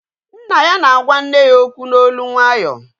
Nna ya na-agwa nne ya okwu n'olu nwayọọ